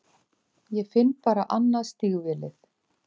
Ég finn bara annað stígvélið.